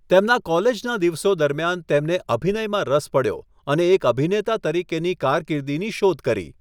તેમના કોલેજના દિવસો દરમિયાન તેમને અભિનયમાં રસ પડ્યો અને એક અભિનેતા તરીકેની કારકિર્દીની શોધ કરી.